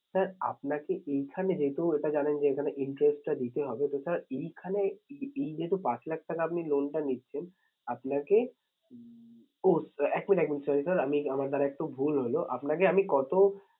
Sir আপনাকে এইখানে যেহেতু এটা জানেন যে এইখানে interest টা দিতে হবে তো sir এইখানে এই নিয়ে তো পাঁচ লাখ টাকা আপনি loan টা নিচ্ছেন। আপনাকে উম ও এক minutes এক minutes sorry sir আমি আমার দ্বারা একটু ভুল হলো আপনাকে আমি কত